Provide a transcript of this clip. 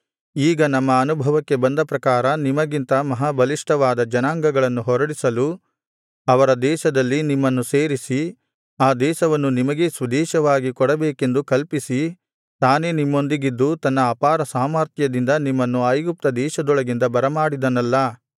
ಈಗ ನಮ್ಮ ಅನುಭವಕ್ಕೆ ಬಂದ ಪ್ರಕಾರ ನಿಮಗಿಂತ ಮಹಾಬಲಿಷ್ಠವಾದ ಜನಾಂಗಗಳನ್ನು ಹೊರಡಿಸಲು ಅವರ ದೇಶದಲ್ಲಿ ನಿಮ್ಮನ್ನು ಸೇರಿಸಿ ಆ ದೇಶವನ್ನು ನಿಮಗೇ ಸ್ವದೇಶವಾಗಿ ಕೊಡಬೇಕೆಂದು ಸಂಕಲ್ಪಿಸಿ ತಾನೇ ನಿಮ್ಮೊಂದಿಗಿದ್ದು ತನ್ನ ಅಪಾರ ಸಾಮರ್ಥ್ಯದಿಂದ ನಿಮ್ಮನ್ನು ಐಗುಪ್ತದೇಶದೊಳಗಿಂದ ಬರಮಾಡಿದನಲ್ಲಾ